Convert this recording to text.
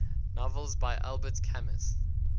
novels by albert camus